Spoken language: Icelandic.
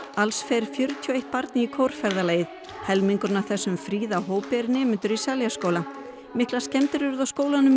alls fer fjörutíu og eitt barn í helmingurinn af þessum fríða hópi er nemendur í Seljaskóla miklar skemmdir urðu á skólanum í